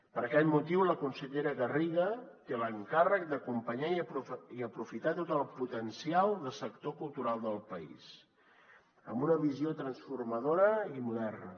per aquest motiu la consellera garriga té l’encàrrec d’acompanyar i aprofitar tot el potencial del sector cultural del país amb una visió transformadora i moderna